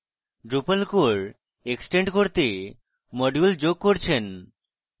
drupal core extend করতে module যোগ করছেন